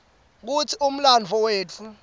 kutsi umlandvo wetfu